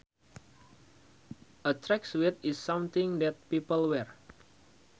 A tracksuit is something that people wear